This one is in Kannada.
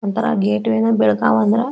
ಒನ್ತರಾ ಗೇಟ್ವೆ ನ ಬೆಳಕಾವ ಅಂದ್ರ --